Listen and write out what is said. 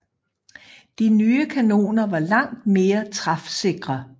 De nye kanoner var langt mere træfsikre